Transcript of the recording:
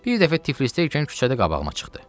Bir dəfə Tiflisdəykən küçədə qabağıma çıxdı.